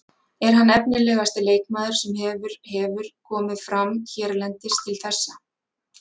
Er hann efnilegasti leikmaður sem hefur hefur komið fram hérlendis til þessa?